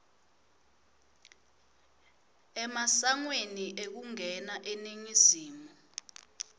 emasangweni ekungena eningizimu